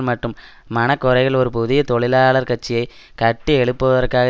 மற்றும் மனக்குறைகள் ஒரு புதிய தொழிலாளர் கட்சியை கட்டி எழுப்புதற்காக